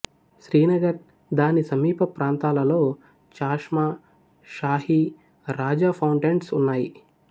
శ్రీనగర్ దానిసమీప ప్రాంతాలలో చాష్మా షాహి రాజ ఫౌంటెన్స్ ఉన్నాయి